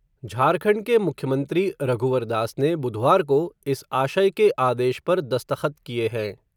झारखंड के मुख्यमंत्री रघुवर दास ने बुधवार को, इस आशय के आदेश पर दस्तख़त किए हैं.